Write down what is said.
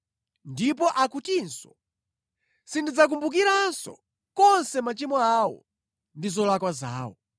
Ndipo akutinso: “Sindidzakumbukiranso konse machimo awo ndi zolakwa zawo.”